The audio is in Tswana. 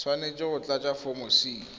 tshwanetse go tlatsa foromo c